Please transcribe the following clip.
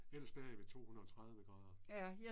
Ellers bager jeg ved 230 grader